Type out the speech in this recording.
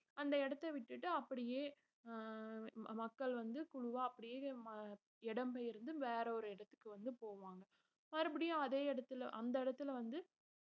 அந்த இடத்தை விட்டுட்டு அப்படியே அஹ் மக்கள் வந்து குழுவா அப்படியே ம~ இடம் பெயர்ந்து வேற ஒரு இடத்துக்கு வந்து போவாங்க மறுபடியும் அதே இடத்தில அந்த இடத்துல வந்து